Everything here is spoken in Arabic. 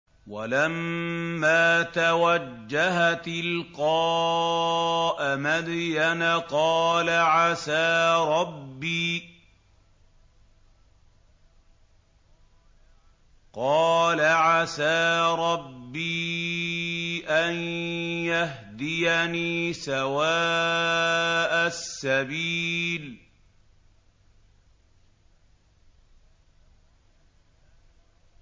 وَلَمَّا تَوَجَّهَ تِلْقَاءَ مَدْيَنَ قَالَ عَسَىٰ رَبِّي أَن يَهْدِيَنِي سَوَاءَ السَّبِيلِ